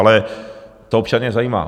Ale to občany zajímá.